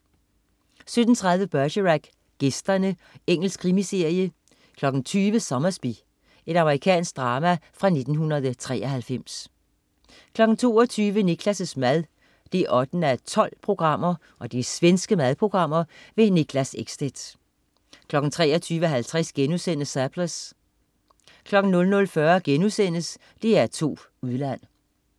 17.30 Bergerac: Gæsterne. Engelsk krimiserie 20.00 Sommersby. Amerikansk drama fra 1993 22.00 Niklas' mad 8:12. Svensk madprogram. Niklas Ekstedt 23.50 Surplus* 00.40 DR2 Udland*